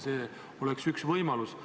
See oleks üks võimalus.